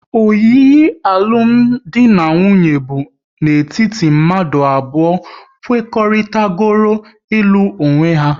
Oyiyi alụmdi na nwunye bụ n'etiti mmadụ abụọ kwekoritarago ilu onwe ha